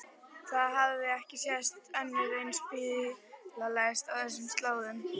Það hafði ekki sést önnur eins bílalest á þessum slóðum.